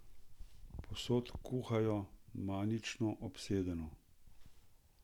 Povsod kuhajo, manično, obsedeno.